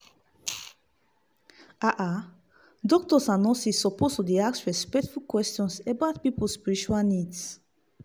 ah ah doctors and nurses suppose dey ask respectful question about people spiritual needs.